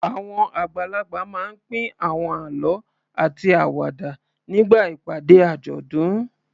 Àwọn àgbàlagbà máa ń pín àwọn àlọ́ àti àwàdà nígbà ìpàdé àjọ̀dún.